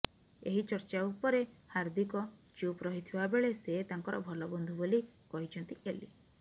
ଏହି ଚର୍ଚ୍ଚା ଉପରେ ହାର୍ଦ୍ଦିକ ଚୁପ୍ ରହିଥିବା ବେଳେ ସେ ତାଙ୍କର ଭଲ ବନ୍ଧୁ ବୋଲି କହିଛନ୍ତି ଏଲି